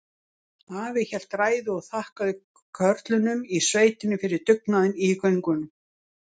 Afi hélt ræðu og þakkaði körlunum í sveitinni fyrir dugnaðinn í göngunum.